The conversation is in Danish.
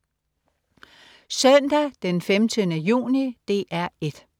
Søndag den 15. juni - DR 1: